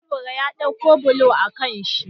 Lebura ya ɗauko bulo a kanshi